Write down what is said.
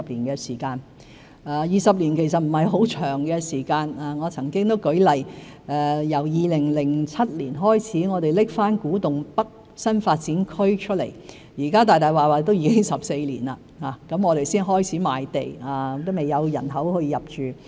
20年其實不是很長的時間，我曾經舉例，自2007年再提出古洞北新發展區，距今已經14年，我們才開始賣地，仍未有人口入住。